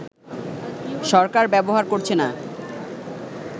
সরকার ব্যবহার করছে না